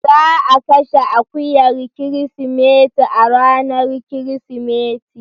Za a kashe akuyar Kirsimeti a ranar Kirsimeti.